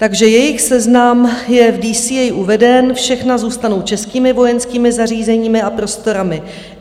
Takže jejich seznam je v DCA uveden, všechna zůstanou českými vojenskými zařízeními a prostorami.